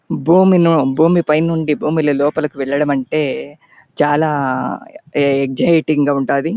భూమిన భూమి పైనుండి భూమి లోపల లకు వెళ్లడం అంటే చాల ఎక్సయిటింగ్ గ ఉంటుంది.